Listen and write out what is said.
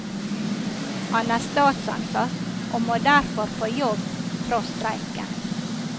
Han er statsansatt, og må derfor på jobb tross streiken.